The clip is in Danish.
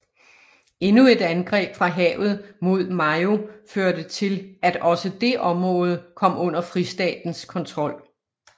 Endnu et angreb fra havet mod Mayo førte til at også det område kom under Fristatens kontrol